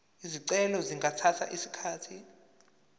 izicelo zingathatha isikhathi